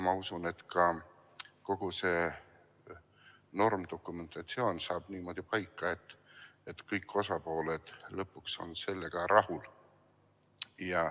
Ma usun, et kogu see normdokumentatsioon saab niimoodi paika, et kõik osapooled on lõpuks sellega rahul.